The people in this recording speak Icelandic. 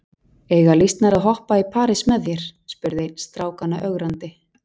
Eiga lýsnar að hoppa í parís með þér? spurði einn strákanna ögrandi.